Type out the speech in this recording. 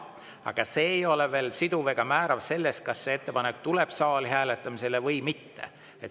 " Aga see ei ole veel siduv ega määrav selles mõttes, kas see ettepanek tuleb saali hääletamisele või mitte.